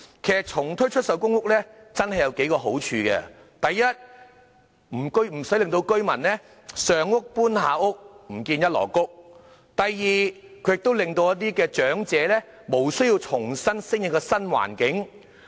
其實，重推出售公屋確實有數個好處：第一，居民無須"上屋搬下屋，唔見一籮穀"；第二，可令長者無須重新適應新環境。